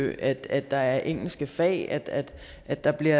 det at at der er engelske fag at at der bliver